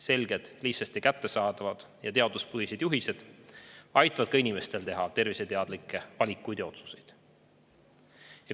Selged, lihtsasti kättesaadavad ja teaduspõhised juhised aitavad inimestel teha terviseteadlikke valikuid ja otsuseid.